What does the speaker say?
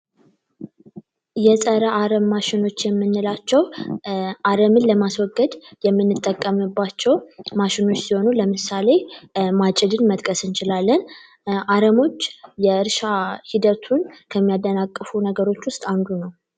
የጸረ አረም ማሺኖች የምንላቸው አረምን ለማስወገድ የምንጠቀምባቸው ማሺኖች ሲሆኑ ለምሳሌ ማጪድን መጥቀስ እንችላለን አረሞች የእርሻ ሂደቱን ከሚያደናቅፉ ነገሮች ውስጥ አንዱ ነው።